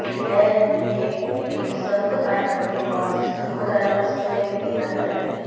यह के इस संत आइकन के पास स्थित हो जाएगा समय में यदि बेहतर है